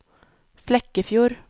Flekkefjord